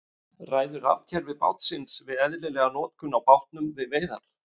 Ræður rafkerfi bátsins við eðlilega notkun á bátnum við veiðar?